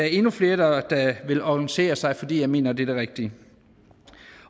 endnu flere der ville organisere sig fordi jeg mener det er det rigtige